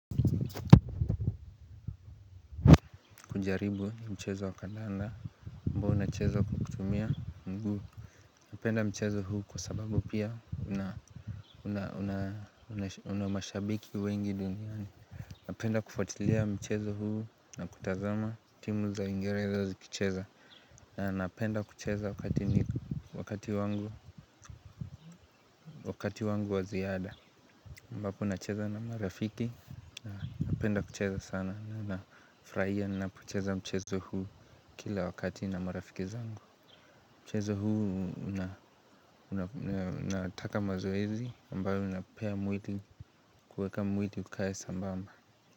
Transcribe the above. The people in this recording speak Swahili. Kujaribu ni mchezo wa kandanda ambao unacheza kwa kutumia mguu. Napenda mchezo huu kwa sababu pia una mashabiki wengi duniani. Napenda kufatilia mchezo huu na kutazama timu za uingereza zikicheza. Na napenda kucheza wakati wakati wangu wa ziada ambapo nacheza na marafiki na napenda kucheza sana na nafurahia na napocheza mchezo huu kila wakati na marafiki zangu. Mchezo huu unataka mazoezi ambayo unapea mwili kuweka mwili ukae sambamba.